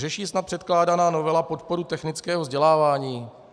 - Řeší snad předkládaná novela podporu technického vzdělávání?